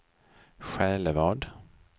Själevad